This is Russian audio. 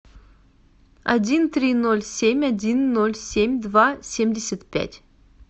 один три ноль семь один ноль семь два семьдесят пять